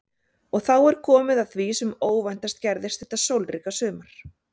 Og er þá komið að því sem óvæntast gerðist þetta sólríka sumar.